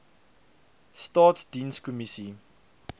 staatsdienskommissie